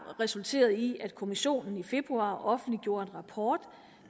resulteret i at kommissionen i februar offentliggjorde en rapport